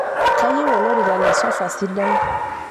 kayieu olorika le sofa sidai